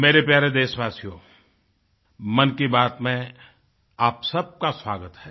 मेरे प्यारे देशवासियो मन की बात में आप सबका स्वागत है